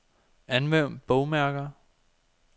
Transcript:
Anvend bogmærker.